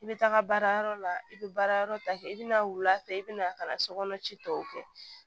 I bɛ taga baarayɔrɔ la i bɛ baara yɔrɔ ta kɛ i bɛ na wula fɛ i bɛ na ka na sokɔnɔ ci tɔw kɛ